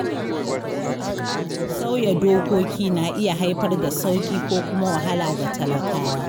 Sauya dokoki na iya haifar da sauƙi ko kuma wahala ga talakawa.